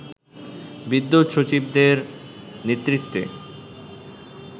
বিদ্যুৎ সচিবদের নেতৃত্বে